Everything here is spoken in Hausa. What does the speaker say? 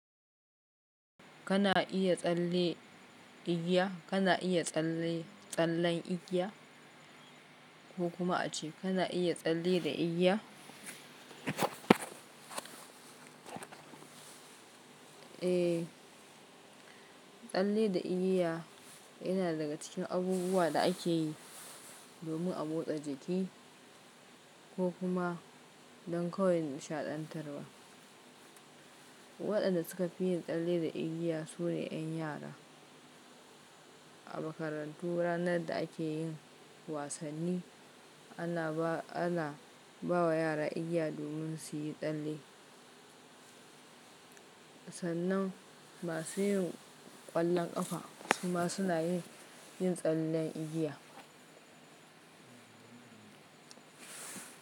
Kana iya tsalle igiya, kana iya tsalle tsallen igiya ko kuma ace kana iya tsalle da igiya? Eh, tsalle da igiya yana daga cikin abubuwan da ake yi domin a motsa jiki ko kuma don kawai nishaɗantarwa. Waɗanda suka fi yin tsalle da igiya su ne 'yan yara. A makarantu ranar da ake yin wasanni ana ba wa yara igiya domin su yi tsalle. Sannan masu yin ƙwallon ƙafa su ma suna yin tsallen igiya.